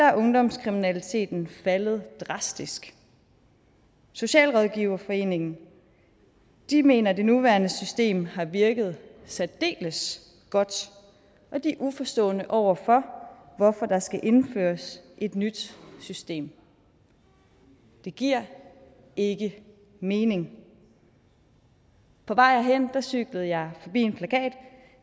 er ungdomskriminaliteten faldet drastisk socialrådgiverforeningen mener at det nuværende system har virket særdeles godt og de er uforstående over for hvorfor der skal indføres et nyt system det giver ikke mening på vej herhen cyklede jeg forbi en plakat